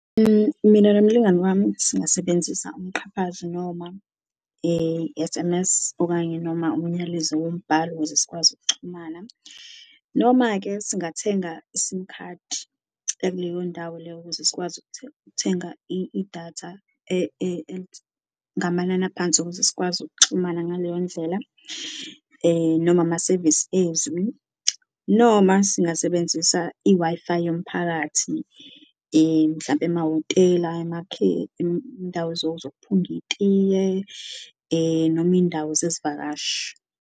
Mina nomlingani wami singasebenzisa umqhafazo noma S_M_S, okanye noma umnyalezo wokubhala ukuze sikwazi ukuxhumana, noma-ke singathenga isimu khadi yakuleyo ndawo leyo ukuze sikwazi ukuthenga idatha ngamanani aphansi ukuze sikwazi ukuxhumana ngaleyo ndlela noma amasevisi ezwi. Noma singasebenzisa i-Wi-Fi yomphakathi mhlampe amahhotela, indawo zokuphunga itiye noma indawo zezivakashi.